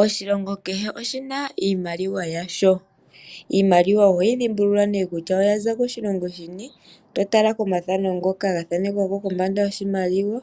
Oshilongo kehe oshina iimaliwa yasho. Iimaliwa oho yi dhimbulula nee kutya oyaza koshilongo shini totala komathano ngoka gathanekwa kombanda yoshimaliwa